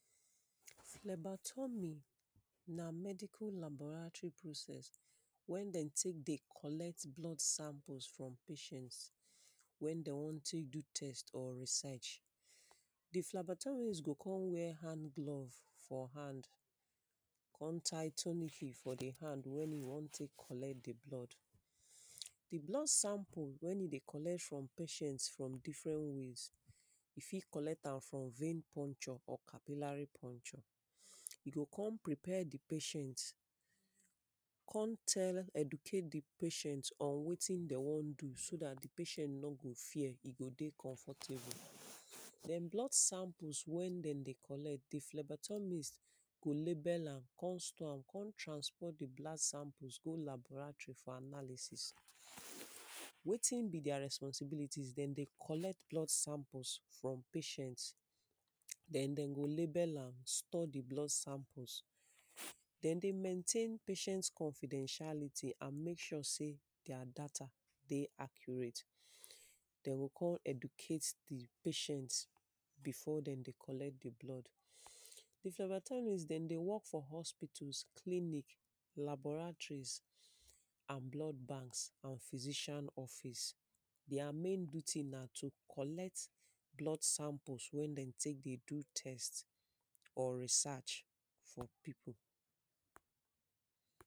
phlebotomy na medial laboratory process, when them dey take collect blood samples from patients when them want take do test or research. di plebotomist go come wear hand glove for hand, come tie tomophy for di hand wey e want take collect dí blood, di blood sample when e dey collect from patients from different ways, e fit collect am for vein puncture or cavilary puncture. e go come prepare di patient, come tell educate di patient on wetin them want do, so dat di patient nor go fear e go dey comfortable. then blood samples when them dey collect di phlebotomist go label am, come store am, come transfer di blood sample go laboratory for analysis. wetin be their responsibilities? them dey collect blood samples from patients, then them go label, am store di blood samples, them dey maintain patients confidentiality and make sure sey their data dey accurate. them go come educate di patients before them dey collect di blood. di phlebotomist them dey work for hospitals, clinic, laboratories and blood banks and physician office. their main duty na to collect blood samples when them take dey do test or research for people. flɛ́bátɔ́mí ná mɛ́díkól lábɔ́rétrí prósɛ́s wɛ́n dɛ́m dé ték kɔ́lɛ́t blɔ́d sámpós frɔ́m péʃɛ́ns wɛ́n dɛ́m wɔ́n ték dú tɛ́st ɔ́ rísɛ́ʃ dí flɛ́bátɔ́míst gó kón wjɛ́ hánglóv fɔ́ hánd kón táí tómífí fɔ́ dí hánd wɛ́n í wɔ́n ték kɔ́lɛ́t dí blɔ́d dí blɔ́d sámpó wɛ́n í dé kɔ́lɛ́t frɔ́m péʃɛ́nts frɔ́m dífrɛ́n wéz í fít kɔ́lɛ́t ám frɔ́m vén pɔ́ntʃɔ́ ɔ́ kávílárí pɔ́ntʃɔ́ í gó kɔ́m prépɛ́ dí péʃɛ́nt kɔ́n tɛ́l ɛ́dúkét dí péʃɛ́nt ɔ́n wétín dɛ́m wɔ́n dú só dát dí péʃɛ́nt nɔ́ gó fjɛ́ í gó dé kɔ́nfɔ́tébó dɛ́n blɔ́d sámpós wɛ́n dɛ́m dé kɔ́lɛ́t dí flɛ́bátɔ́míst gó lébɛ́l ám kɔ́m stɔ́ ám kɔ́m tránsfá dí blád sámpó gó lábɔ́rátrí fɔ́ ánálísís wétín bí díá rɛ́spɔ́síbílítíz dɛ́m dé kɔ́lɛ́t blɔ́d sámpós frɔ́m péʃɛ́nts dɛ́n dɛ́m gó lébɛ́l ám stɔ́ dí blɔ́d sámpós dɛ́n dé mɛ́ntén péʃɛ́nts kɔ́fídɛ́nʃálítí án mék ʃwɔ́ sé díá dátá dé ákjúrét dɛ́n gó kɔ́m ɛ́dúkét dí péʃɛ́nts bífɔ́ dɛ́m dé kɔ́lɛ́t dí blɔ́d dí flɛ́bátɔ́míst dɛ́m dé wɔ́k fɔ́ hɔ́spítás klíník lábɔ́rátrís án blɔ́d bánks án fízíʃán ɔ́fís díá mén djútí ná tó kɔ́lɛ́t blɔ́d sámpós wɛ́n dɛ́m dé ték dú tɛ́st ɔ́ rísátʃ fɔ́ pípu